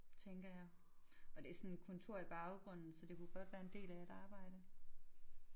Tænker jeg og det er sådan kontor i baggrunden så det kunne godt være en del af et arbejde